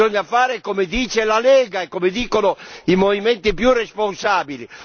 Bisogna fare come dice la Lega e come dicono i movimenti più responsabili.